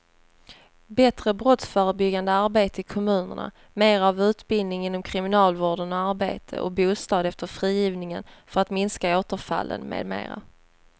Bättre brottsförebyggande arbete i kommunerna, mera av utbildning inom kriminalvården och arbete och bostad efter frigivningen för att minska återfallen med mera.